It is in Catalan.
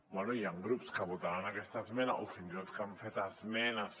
bé hi han grups que votaran aquesta esmena o fins i tot que han fet esmenes